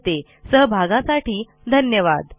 आपल्या सहभागासाठी धन्यवाद